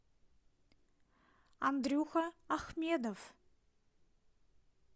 андрюха ахмедов